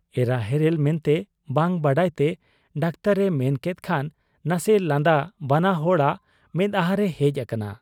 ᱮᱨᱟ ᱦᱮᱨᱮᱞ ᱢᱮᱱᱛᱮ ᱵᱟᱝ ᱵᱟᱰᱟᱭᱛᱮ ᱰᱟᱠᱛᱚᱨ ᱮ ᱢᱮᱱᱠᱮᱫ ᱠᱷᱟᱱ ᱱᱟᱥᱮ ᱞᱟᱸᱫᱟ ᱵᱟᱱᱟ ᱦᱚᱲᱟᱜ ᱢᱮᱫᱦᱟᱸᱨᱮ ᱦᱮᱡ ᱟᱠᱟᱱᱟ ᱾